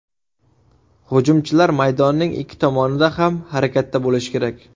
Hujumchilar maydonning ikki tomonida ham harakatda bo‘lishi kerak.